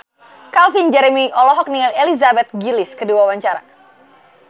Calvin Jeremy olohok ningali Elizabeth Gillies keur diwawancara